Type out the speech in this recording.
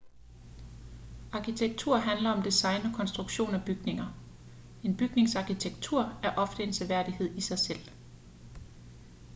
arkitektur handler om design og konstruktion af bygninger en bygnings arkitektur er ofte en seværdighed i sig selv